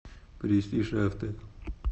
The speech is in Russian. престиж авто